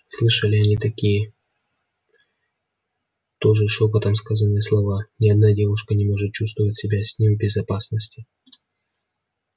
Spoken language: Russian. слышали они и такие тоже шёпотом сказанные слова ни одна девушка не может чувствовать себя с ним в безопасности